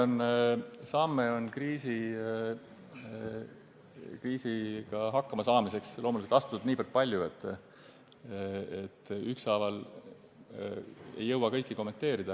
Neid samme kriisiga hakkama saamiseks on astutud niivõrd palju, et ükshaaval ei jõua kõike kommenteerida.